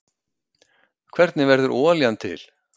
hvernig verður olían til